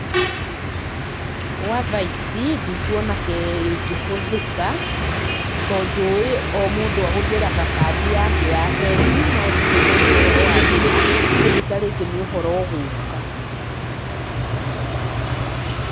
Gwa thaa ici, ndikuona kĩngĩhũthĩka, to njũĩ o mũndũ ahũthagĩra kandi yake ya bengi, no ndirĩ ndaigua ũhoro wa VISA koguo tarĩngĩ nĩ ũhoro wa gũka.